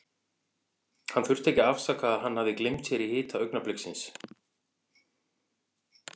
Hann þurfti ekki að afsaka að hann hafði gleymt sér í hita augnabliksins.